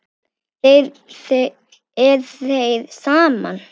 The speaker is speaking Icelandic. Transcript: Er þér sama?